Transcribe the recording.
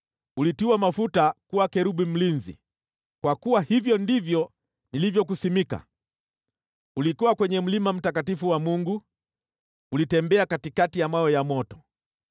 Ulitiwa mafuta kuwa kerubi mlinzi, kwa kuwa hivyo ndivyo nilivyokuweka wakfu. Ulikuwa kwenye mlima mtakatifu wa Mungu; ulitembea katikati ya vito vya moto.